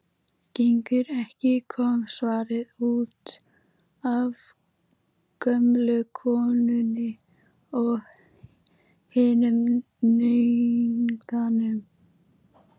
Gengur ekki,- kom svarið, útaf gömlu konunni og hinum náunganum.